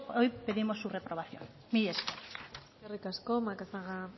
hoy pedimos su renovación mila esker eskerrik asko macazaga